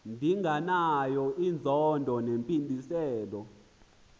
ndinganayo inzondo nempindezelo